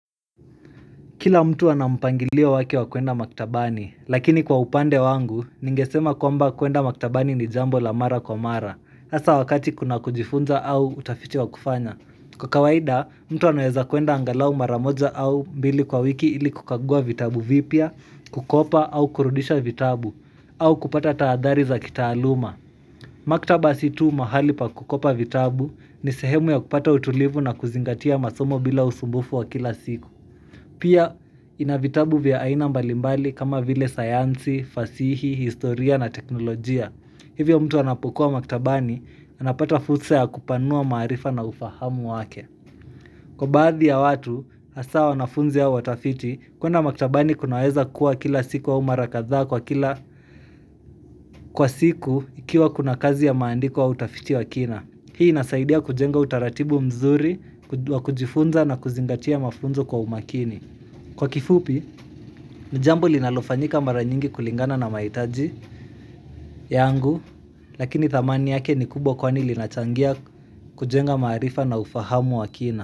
Kila mtu ana mpangilio wake wa kuenda maktabani, lakini kwa upande wangu, ningesema kwamba kuenda maktabani ni jambo la mara kwa mara, hasa wakati kuna kujifunza au utafiti wa kufanya. Kwa kawaida, mtu anaeza kuenda angalau mara moja au mbili kwa wiki ili kukagua vitabu vipya, kukopa au kurudisha vitabu, au kupata taadhari za kitaaluma. Maktaba si tu mahali pa kukopa vitabu ni sehemu ya kupata utulivu na kuzingatia masomo bila usumbufu wa kila siku. Pia ina vitabu vya aina mbalimbali kama vile sayansi, fasihi, historia na teknolojia Hivyo mtu anapokuwa maktabani anapata fursa ya kupanua maarifa na ufahamu wake Kwa baadhi ya watu, hasa wanafunzi au watafiti kuenda maktabani kunaweza kuwa kila siku au mara kadhaa kwa kila Kwa siku ikiwa kuna kazi ya maandiko au utafiti wa kina Hii inasaidia kujenga utaratibu mzuri, kujifunza na kuzingatia mafunzo kwa umakini Kwa kifupi, ni jambo linalofanyika mara nyingi kulingana na maitaji yangu, lakini thamani yake ni kubwa kwani linachangia kujenga maarifa na ufahamu wa kina.